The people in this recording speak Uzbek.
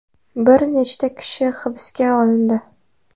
Bir nechta kishi hibsga olindi.